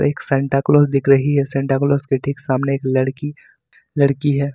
एक Santa Claus दिख रही है सांता क्लास के ठीक सामने एक लड़की लड़की है।